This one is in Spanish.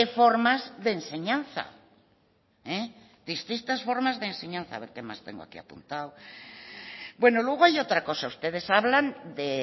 formas de enseñanza distintas formas de enseñar a ver qué más tengo aquí apuntado bueno luego hay otra cosa ustedes hablan de